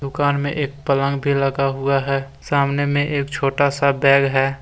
दुकान में एक पलंग भी लगा हुआ है सामने में एक छोटा सा बैग है।